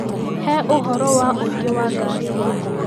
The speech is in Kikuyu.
He ũhoro wa ũingĩ wa ngari rĩu